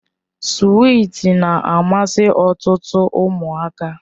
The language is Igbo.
Swiiti na-amasị ọtụtụ ụmụaka.